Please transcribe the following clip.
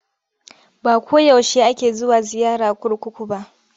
Ba ko yaushe ake zuwa ziyara kurkuku ba.